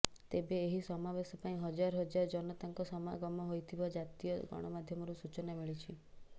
ତେବେ ଏହି ସମାବେଶ ପାଇଁ ହଜାର ହଜାର ଜନତାଙ୍କ ସମାଗମ ହୋଇଥିବା ଜାତୀୟ ଗଣମାଧ୍ୟମରୁ ସୂଚନା ମିଳିଛି